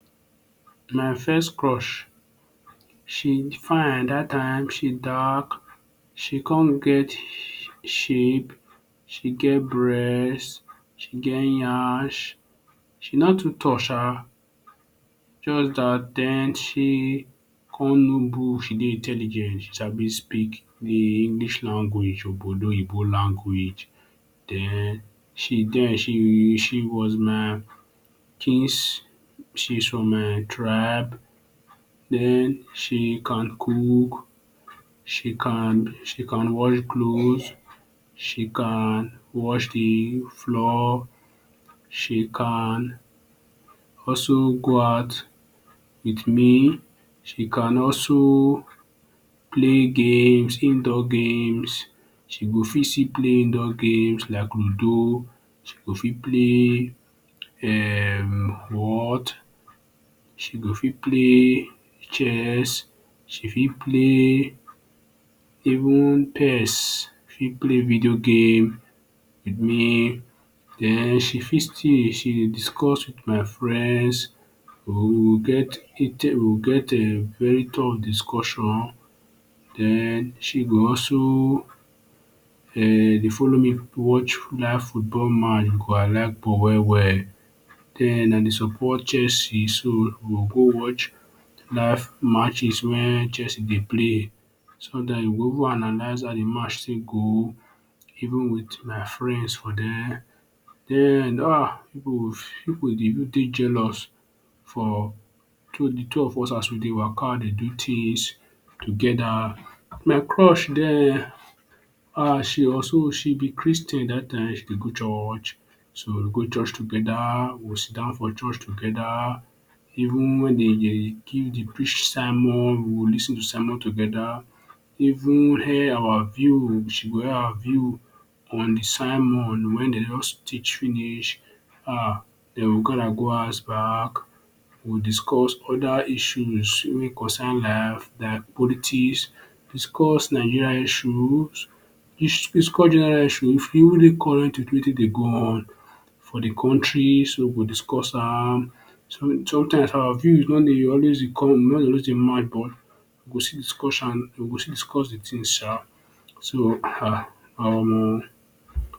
My first crush. She fine dat time, she dark she come get shape. She get breast, she get nyash, she no too tall shaa. Just dat den she come know book, she dey intelligent, she sabi speak de English language, language. Den she den she was my peace, she's from my tribe, den she can cook, she can she can wash clothes, she can wash de floor, she can also go out wit me, she can also play games, indoor games. She go fit still play indoor games like ludo, she go fit play um whot. She go fit play chess. She fit play even PS, she fit play video game wit me. Den she fit stay, she dey discuss wit my friends we get we get um very tough discussion. Den she go also um dey follow me watch live football match, I like ball well well. Den I dey support Chelsea so we go watch live matches wen Chelsea dey play so dat we go even analyze how de match take go. Even wit my friends for there. Den um pipu dey take dey jealous for two de two of us as we dey waka dey do things together. My crush den, um she also she be Christian dat time she dey go church, so we go church together, we go dey sit-down for church together even wen dey give de preach sermon, we lis ten to sermon together. Even air our views we go air our views on de sermon wey dem just teach finish. Um dey we go house back we discuss other issues wey concern life like politics, discuss Nigeria issues. Discuss general issues wey dey current wit wetin dey go on for the country. So we go discuss am. So sometimes our views no dey always e no dey always dey match but we go still discuss am we go still discuss de thing shaa. So um.